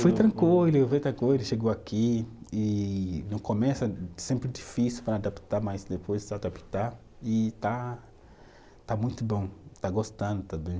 chegou aqui e no começo é sempre difícil para adaptar, mas depois se adaptar e está, está muito bom, está gostando também.